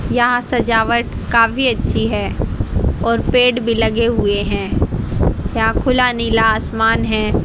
यहां सजावट काफी अच्छी है और पेड़ भी लगे हुए है यहां खुला नीला आसमान है।